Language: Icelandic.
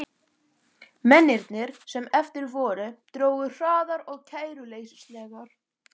Mennirnir, sem eftir voru, drógu hraðar og kæruleysislegar.